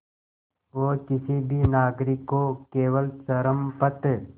वो किसी भी नागरिक को केवल चरमपंथ